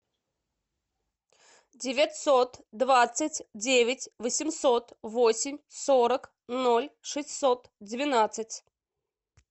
девятьсот двадцать девять восемьсот восемь сорок ноль шестьсот двенадцать